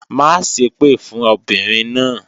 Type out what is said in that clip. Má ṣèpè fún obìnrin náà!